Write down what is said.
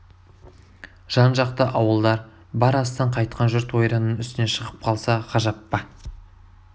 жан-жақта ауылдар бар астан қайтқан жұрт ойранның үстінен шығып қалса ғажап па